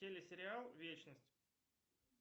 телесериал вечность